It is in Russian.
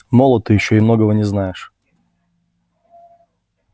молод ты ещё и многого не знаешь